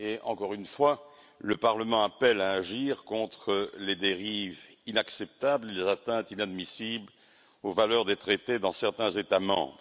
Encore une fois, le Parlement appelle à agir contre les dérives inacceptables et les atteintes inadmissibles aux valeurs des traités dans certains États membres.